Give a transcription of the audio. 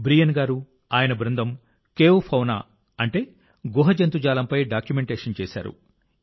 Brian గారు ఆయన బృందం కేవ్ ఫౌనా అంటే గుహ జంతుజాలంపై డాక్యుమెంటేషన్ చేశారు